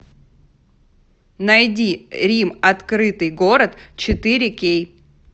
найди рим открытый город четыре кей